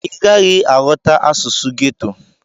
Ị gaghị aghọta asụsụ geto.